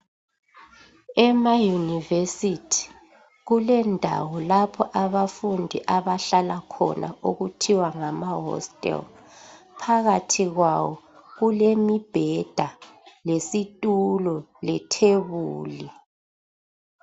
Ema university kulendawo lapho abafundi abahlala khona okuthiwa ngama hostel phakathi kwawo kulemibheda lesitulo lethebuli